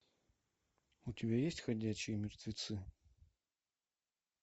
у тебя есть ходячие мертвецы